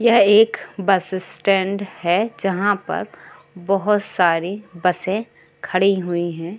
यह एक bus stand हैं जहाँ पर बोहोत सारी बसे खड़ी हुई हैं।